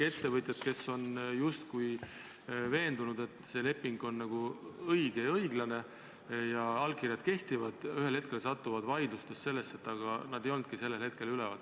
Ettevõtjad, kes on justkui veendunud, et leping on õige ja õiglane ja allkirjad kehtivad, satuvad ühel hetkel vaidlustes sellesse olukorda, et aga nad ei olnudki sellel hetkel seal üleval.